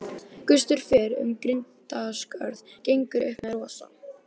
Gustur fer um grindaskörð gengur upp með rosa.